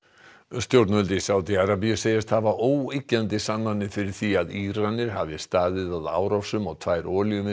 stjórnvöld í Sádi Arabíu segjast hafa óyggjandi sannanir fyrir því að Íranir hafi staðið að árásum á tvær